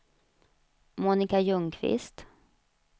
Monika Ljungqvist